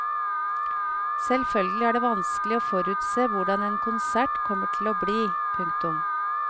Selvfølgelig er det vanskelig å forutse hvordan en konsert kommer til å bli. punktum